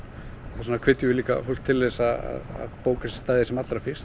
þess vegna hvetjum við fólk til þess að bóka stæði sem allra fyrst